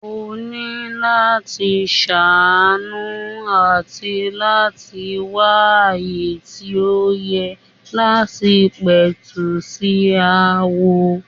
Ó ni láti ṣàánú àti láti wá ààyè tí ó yẹ láti pẹ̀tù sí aáwọ̀.